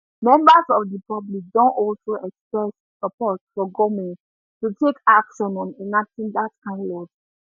members of di public don also express support for goment to take action on enacting dat kain laws